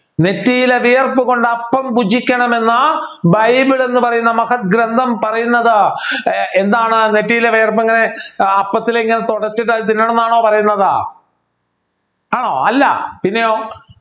നെറ്റിയിലെ വിയർപ്പ് കൊണ്ട് അപ്പം ഭുചിക്കണമെന്ന ബൈബിൾ എന്നുപറയുന്ന മഹത് ഗ്രന്ഥം പറയുന്നത് ഏർ എന്താണ് നെറ്റിയിലെ വിയർപ്പ് എങ്ങനെ അപ്പത്തിലിങ്ങനെ തുടച്ചിട്ട് തിന്നാൻ ന്നാണോ പറയുന്നത് ആണോ അല്ല പിന്നെയോ